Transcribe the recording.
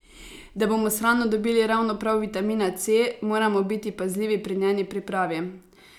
Da bomo s hrano dobili ravno prav vitamina C, moramo biti pazljivi pri njeni pripravi.